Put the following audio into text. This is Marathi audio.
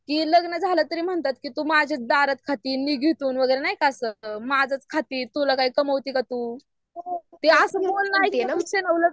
की लग्न झालं की म्हणतात की तू माझ्या दारात खाती मी घेतो वगैरा नाही काय असं माझच खाती तुला काय कमवती काय तू? असं बोलणं आहे